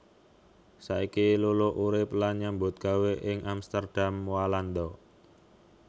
Saiki Luluk urip lan nyambut gawé ing Amsterdam Walanda